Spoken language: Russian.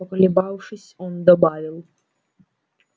поколебавшись он добавил